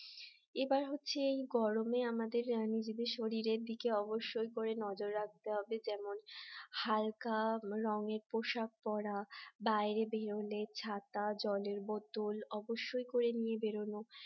এবার হচ্ছে এই গরমে আমাদের শরীরের দিকে অবশ্যই করে নজর রাখতে হবে যেমন হালকা রঙের পোশাক পরা বাইরে বেরোলে ছাতা জলের বোতল অবশ্যই করে নিয়ে বেরোনো